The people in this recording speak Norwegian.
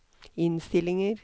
innstillinger